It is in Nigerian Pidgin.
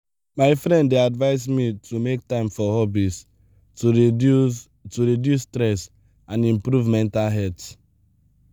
my friend dey advise me to make time for hobbies to reduce to reduce stress and improve mental health.